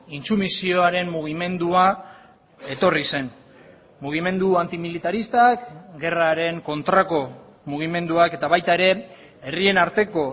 intsumisioaren mugimendua etorri zen mugimendu antimilitaristak gerraren kontrako mugimenduak eta baita ere herrien arteko